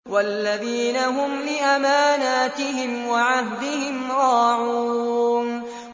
وَالَّذِينَ هُمْ لِأَمَانَاتِهِمْ وَعَهْدِهِمْ رَاعُونَ